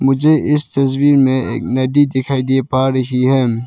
मुझे इस तस्वीर में एक नदी दिखाई दे पा रही है।